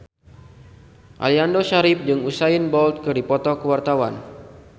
Aliando Syarif jeung Usain Bolt keur dipoto ku wartawan